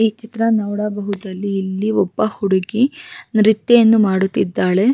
ಭರತನಾಟ್ಯ ಅನ್ನೊದು ಒಂದು ಒಳ್ಳೆ ಕಲೆ ಅದು ಆಗಿನ್ ಕಾಲದಿಂದಾನು ಒಳ್ಳೆ ಕಲೆ ಆಗೇ ಇದೆ ಈಗ್ಲೂ ಆ ಕಲೇನ ಮುಂದುವರಿಸ್ಕೊಂಡು ಹೋಗಿದ್ದಾರೆ.